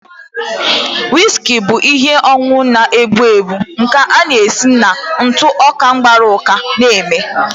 Whiski bụ ihe ọṅụṅụ na-egbu egbu nke a na-esi na ntụ ọka gbara uka eme